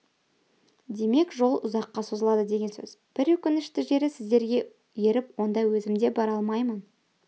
демек жол ұзаққа созылады деген сөз бір өкінішті жері сіздерге еріп онда өзім де бара алмаймын